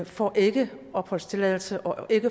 får ikke opholdstilladelse og